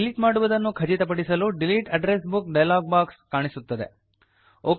delete ಮಾಡುವುದನ್ನು ಖಚಿತಪಡಿಸಲು delete address book dialog box box ಕಾಣಿಸುತ್ತದೆ